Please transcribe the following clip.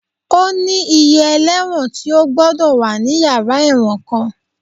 Ó ní iye ẹlẹ́wọ̀n tí ó gbọ́dọ̀ wà ní yàrá ẹ̀wọ̀n kan